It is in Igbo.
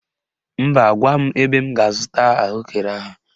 Mba, gwa m ebe m ga--azụta ahụekere ahụ.